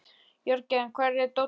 Jörgen, hvar er dótið mitt?